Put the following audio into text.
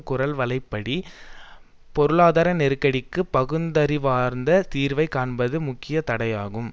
குரல்வளைப்பிடி பொருளாதார நெருக்கடிக்கு பகுந்தறிவார்ந்த தீர்வைக் காண்பதற்கு முக்கிய தடையாகும்